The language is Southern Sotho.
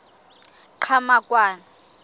qhamakwane